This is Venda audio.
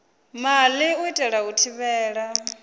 maḓi u itela u thivhela